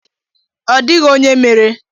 Ọ dịghị onye mere.